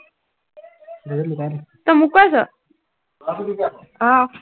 তই মোক কৈ আছ? আহ